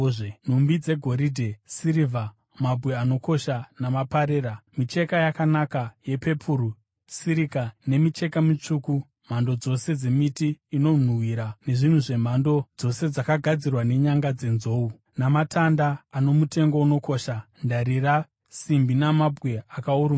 nhumbi dzegoridhe, sirivha, mabwe anokosha namaparera; micheka yakanaka, yepepuru, sirika nemicheka mitsvuku; mhando dzose dzemiti inonhuhwira nezvinhu zvemhando dzose zvakagadzirwa nenyanga dzenzou, namatanda ano mutengo unokosha, ndarira, simbi namabwe akaurungana;